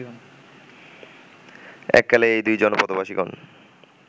এককালে এই দুই জনপদবাসিগণ